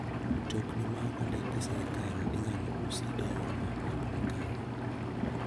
Mtokni ma ok ondiki gi sirkal inyal usi e yo ma ok ni kare.